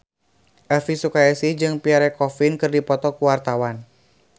Elvi Sukaesih jeung Pierre Coffin keur dipoto ku wartawan